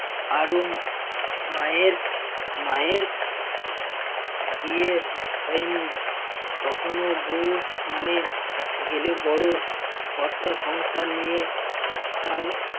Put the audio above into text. আরো মায়ের~ মায়ের বিয়ের হয়নি তখনো বউ মানে গেলে বড় কর্তা সংসার নিয়ে